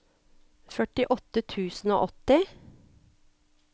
førtiåtte tusen og åtti